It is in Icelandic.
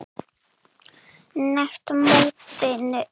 net mótinu?